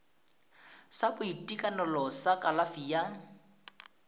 sa boitekanelo sa kalafi ya